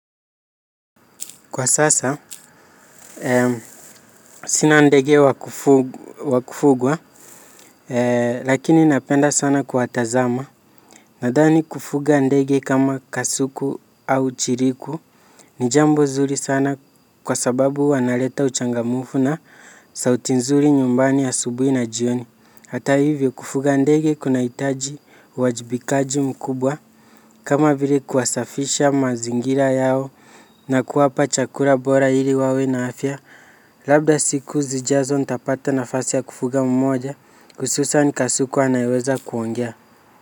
Kwa sasa, sina ndege wa kufugwa, lakini napenda sana kuwatazama. Nadhani kufuga ndege kama kasuku au chiriku ni jambo zuri sana kwa sababu wanaleta uchangamfu na sauti nzuri nyumbani asubuhi na jioni. Hata hivyo, kufuga ndege kunahitaji uwajibikaji mkubwa kama vile kuwasafishia mazingira yao na kuwapa chakula bora ili wawe na afya. Labda siku zijazo nitapata nafasi ya kufuga mmoja, hususan kasuku anayeweza kuongea.